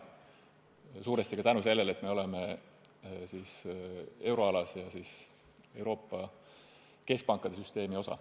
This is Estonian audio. Seda suuresti tänu sellele, et me oleme euroalas ja seega Euroopa keskpankade süsteemi osa.